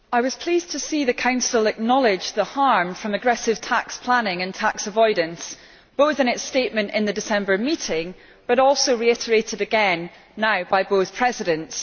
Mr President, I was pleased to see the Council acknowledge the harm from aggressive tax planning and tax avoidance, both in its statement in the December meeting but also reiterated again now by both Presidents.